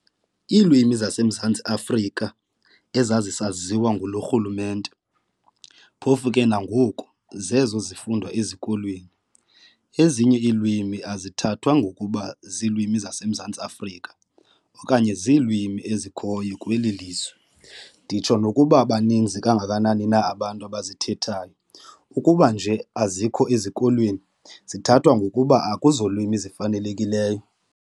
Iilwimi zaseMzantsi Afrika ezazisaziwa nguloo rhulumente, phofu ke nangoku, zezo zifundwa ezikolweni, ezinye ilwimi azithathwa ngokuba ziilwimi zaseMzantsi Afrika okanye ziilwimi ezikhoyo kweli lizwe, nditsho nokokuba baninzi kangakanani na abantu abazithethayo, ukuba nje azikho ezikolweni, zithathwa ngokuba akuzolwimi zifanelekileyo.